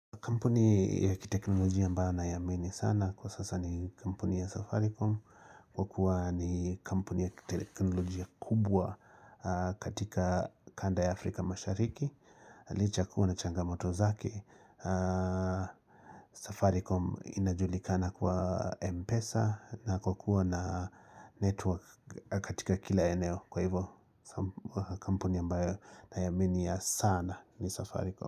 Kampuni ya kiteknolojia ambao naiamini sana kwa sasa ni kampuni ya Safaricom Kwa kuwa ni kampuni ya kiteknolojia kubwa katika kanda ya Afrika mashariki licha kuwa inachangamoto zake Safaricom inajulikana kwa Mpesa na kwa kuwa na network katika kila eneo Kwa hivo kampuni ambayo naiaminia sana ni Safaricom.